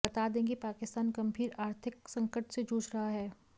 बता दें कि पाकिस्तान गंभीर आर्तिक संकट से जूझ रहा है